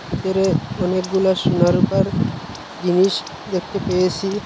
ভিতরে অনেকগুলা সোনা রুপার জিনিস দেখতে পেয়েসি।